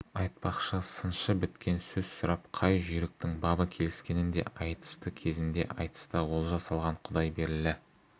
айтпақшы сыншы біткен сөз сұрап қай жүйріктің бабы келіскенін де айтысты кезінде айтыста олжа салған құдайберлі